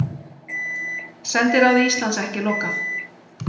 Sendiráði Íslands ekki lokað